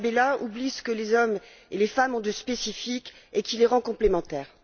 Tarabella oublie ce que les hommes et les femmes ont de spécifique et qui les rend complémentaires.